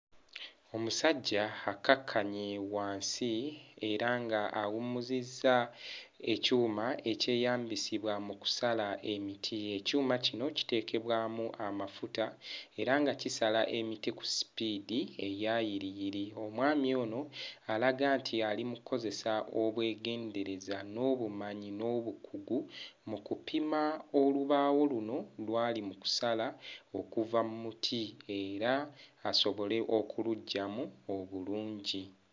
Omusajja akkakkanye wansi era nga awummuzizza ekyuma ekyeyambisibwa mu kusala emiti. Ekyuma kino kiteekebwamu amafuta era nga kisala emiti ku ssipiidi eya yiriyiri. Omwami ono alaga nti ali mu kkozesa obwegendereza n'obumanyi n'obukugu mu kupima olubaawo luno lw'ali mu kusala okuva mmuti era asobole okuluggyamu obulungi.